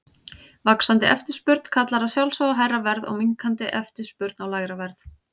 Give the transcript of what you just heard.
Vaxandi eftirspurn kallar að sjálfsögðu á hærra verð og minnkandi eftirspurn á lægra verð.